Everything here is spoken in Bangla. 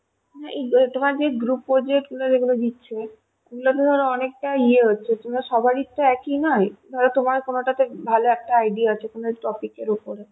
এই যা~ যে তোমার group project গুলো দিচ্ছে ওগুলোতে ধরো অনেকটা ইয়ে হচ্ছে তোমার সবারই তো একই নয় ধরো তোমার কোনো টাতে ভালো idea আছে কোনো topic এর উপরে